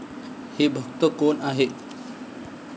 हे भक्त कोण आहेत?